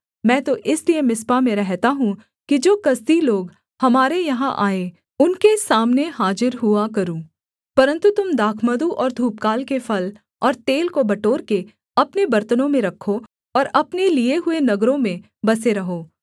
मैं तो इसलिए मिस्पा में रहता हूँ कि जो कसदी लोग हमारे यहाँ आएँ उनके सामने हाजिर हुआ करूँ परन्तु तुम दाखमधु और धूपकाल के फल और तेल को बटोरके अपने बरतनों में रखो और अपने लिए हुए नगरों में बसे रहो